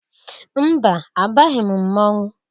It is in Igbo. Mba! Abaghị m mmọnwụ.